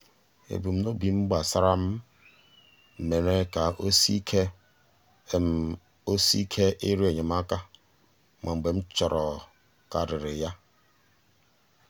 ebumnobi m gbasara m mere ka o sie ike o sie ike ịrịọ enyemaka ma mgbe m chọrọkarịrị ya.